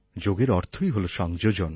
যোগের অর্থই হলো সংযোজন